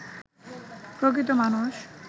প্রকৃত মানুষ